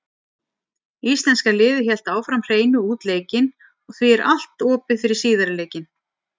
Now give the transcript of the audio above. Íslenska liðið hélt áfram hreinu út leikinn og því er allt opið fyrir síðari leikinn.